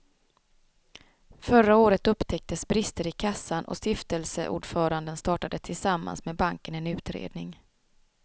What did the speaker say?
Förra året upptäcktes brister i kassan och stiftelseordföranden startade tillsammans med banken en utredning.